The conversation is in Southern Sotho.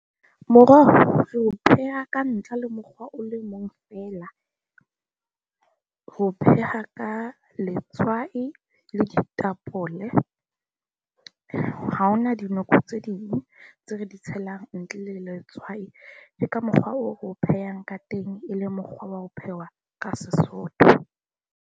Moroho re o pheha ka ntlha le mokgwa o le mong feela, re o pheha ka letswai le ditapole, ha hona dinoko tse ding tse re di tshelang ntle le letswai. Ke ka mokgwa oo re o phehang ka teng e le mokgwa wa ho phehwa ka Sesotho.